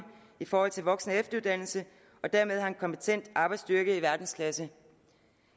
i forhold til voksen og efteruddannelse og dermed har en kompetent arbejdsstyrke i verdensklasse